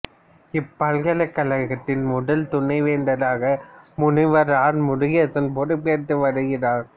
இப்பல்கலைக்கழகத்தின் முதல் துணைவேந்தராக முனைவர் ஆர் முருகேசன் பொறுப்பாற்றி வருகிறார்